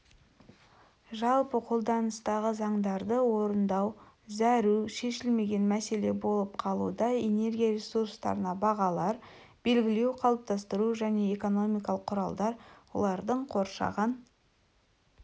жалпы қолданыстағы заңдарды орындау зәру және шешілмеген мәселе болып қалуда энергия ресурстарына бағалар белгілеу қалыптастыру және экономикалық құралдар олардың қоршаған